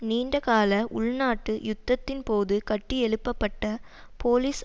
நீண்ட கால உள்நாட்டு யுத்தத்தின் போது கட்டியெழுப்ப பட்ட போலிஸ்